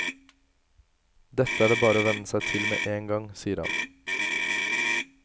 Dette er det bare å venne seg til med en gang, sier han.